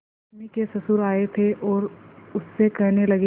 रश्मि के ससुर आए थे और उससे कहने लगे